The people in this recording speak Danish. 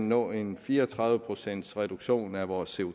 nå en fire og tredive procents reduktion af vores